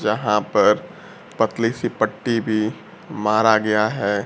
यहां पर पतली सी पट्टी भी मारा गया है।